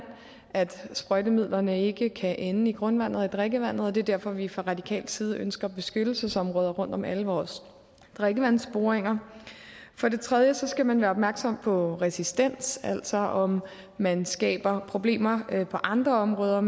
at sprøjtemidlerne ikke kan ende i grundvandet og i drikkevandet og det er derfor vi fra radikal side ønsker beskyttelsesområder rundt om alle vores drikkevandsboringer for det tredje skal man være opmærksom på resistens altså om man skaber problemer på andre områder